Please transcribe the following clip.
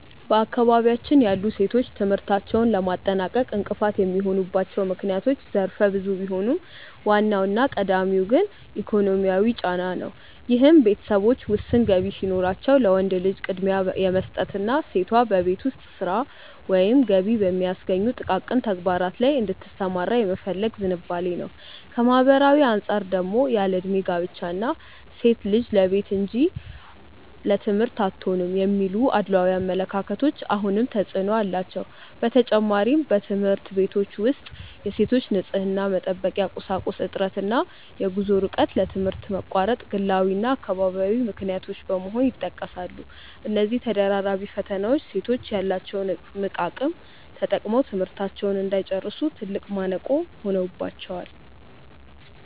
በአካባቢያችን ያሉ ሴቶች ትምህርታቸውን ለማጠናቀቅ እንቅፋት የሚሆኑባቸው ምክንያቶች ዘርፈ ብዙ ቢሆኑም፣ ዋናውና ቀዳሚው ግን ኢኮኖሚያዊ ጫና ነው፤ ይህም ቤተሰቦች ውስን ገቢ ሲኖራቸው ለወንድ ልጅ ቅድሚያ የመስጠትና ሴቷ በቤት ውስጥ ሥራ ወይም ገቢ በሚያስገኙ ጥቃቅን ተግባራት ላይ እንድትሰማራ የመፈለግ ዝንባሌ ነው። ከማኅበራዊ አንጻር ደግሞ ያለዕድሜ ጋብቻ እና "ሴት ልጅ ለቤት እንጂ ለትምህርት አትሆንም" የሚሉ አድሏዊ አመለካከቶች አሁንም ተፅዕኖ አላቸው። በተጨማሪም፣ በትምህርት ቤቶች ውስጥ የሴቶች የንፅህና መጠበቂያ ቁሳቁስ እጥረት እና የጉዞ ርቀት ለትምህርት መቋረጥ ግላዊና አካባቢያዊ ምክንያቶች በመሆን ይጠቀሳሉ። እነዚህ ተደራራቢ ፈተናዎች ሴቶች ያላቸውን እምቅ አቅም ተጠቅመው ትምህርታቸውን እንዳይጨርሱ ትልቅ ማነቆ ሆነውባቸዋል።